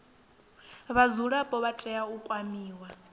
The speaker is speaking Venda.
vhadzulapo vha tea u kwamiwa